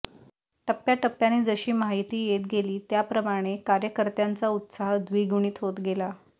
टप्प्याटप्प्याने जशी माहिती येत गेली त्याप्रमाणे कार्यकर्त्यांचा उत्साह द्विगुणीत होत गेला